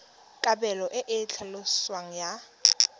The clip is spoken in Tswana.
kabelo e e tlhaloswang ya